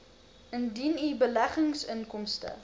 indien u beleggingsinkomste